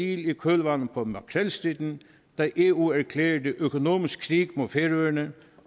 i kølvandet på makrelstriden da eu erklærede økonomisk krig mod færøerne